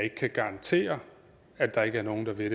ikke kan garantere at der ikke er nogen der vil